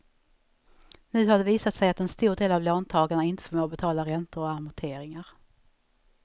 Nu har det visat sig att en stor del av låntagarna inte förmår betala räntor och amorteringar.